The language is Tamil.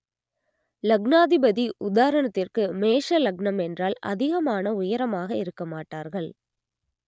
லக்னாதிபதி உதாரணத்திற்கு மேஷ லக்னம் என்றால் அதிகமான உயரமாக இருக்க மாட்டார்கள்